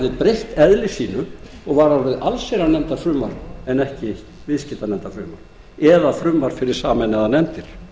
hafði breytt eðli sínu og var orðið allsherjarnefndarfrumvarp en ekki viðskiptanefndarfrumvarp eða frumvarp fyrir sameinaðar nefndir